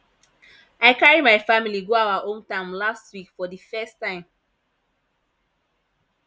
i carry my family go our hometown last week for the first time